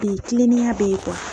kilenniya bɛ ye